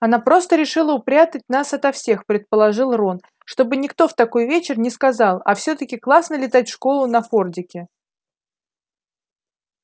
она просто решила упрятать нас ото всех предположил рон чтобы никто в такой вечер не сказал а всё-таки классно летать в школу на фордике